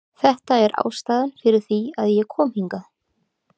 Þetta er ástæðan fyrir því að ég kom hingað.